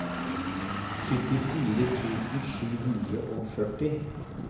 syttifire tusen sju hundre og førti